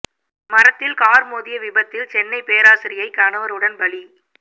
மரத்தில் கார் மோதிய விபத்தில் சென்னை பேராசிரியை கணவருடன் பலி